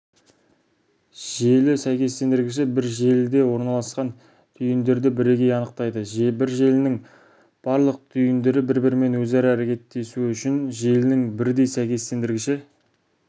желі сәйкестендіргіші бір желіде орналасқан түйіндерді бірегей анықтайды бір желінің барлық түйіндері бір-бірімен өзара әрекеттесуі үшін желінің бірдей сәйкестендіргіші